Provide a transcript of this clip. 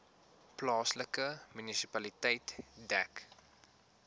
plaaslike munisipaliteit dek